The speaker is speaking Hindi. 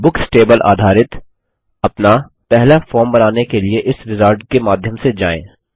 बुक्स टेबल आधारित अपना पहला फॉर्म बनाने के लिए इस विजार्ड के माध्यम से जाएँ